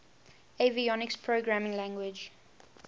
avionics programming language